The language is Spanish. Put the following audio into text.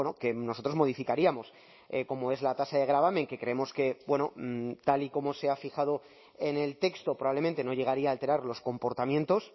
que nosotros modificaríamos como es la tasa de gravamen que creemos que tal y como se ha fijado en el texto probablemente no llegaría a alterar los comportamientos